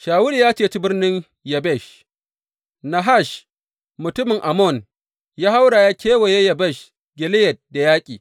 Shawulu ya ceci birnin Yabesh Nahash mutumin Ammon ya haura ya kewaye Yabesh Gileyad da yaƙi.